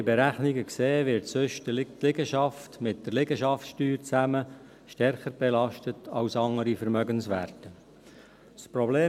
Wie wir in Berechnungen sehen, wird sonst die Liegenschaft mit der Liegenschaftssteuer zusammen stärker als andere Vermögenswerte belastet.